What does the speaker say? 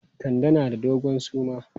Kande na da dogon suma.